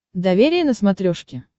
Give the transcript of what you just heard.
доверие на смотрешке